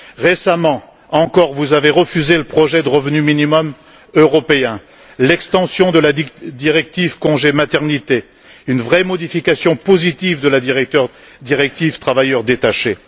Récemment encore, vous avez refusé le projet de revenu minimum européen, l'extension de la directive sur le congé de maternité et une vraie modification positive de la directive sur les travailleurs détachés.